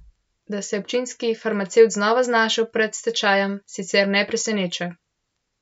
Da se je občinski farmacevt znova znašel pred stečajem, sicer ne preseneča.